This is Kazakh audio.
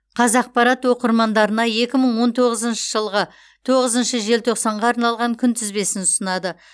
қазақпарат оқырмандарына екі мың он тоғызыншы жылғы тоғызыншы желтоқсанға арналған күнтізбесін ұсынады